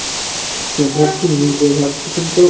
একবার কি নিব ভাবছি কিন্তু,